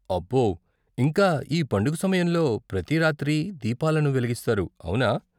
అబ్బో, ఇంకా ఈ పండుగ సమయంలో ప్రతి రాత్రీ దీపాలను వెలిగిస్తారు, అవునా?